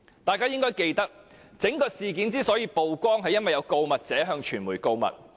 大家應該記得，整件事之所以曝光，是因為有告密者向傳媒告密。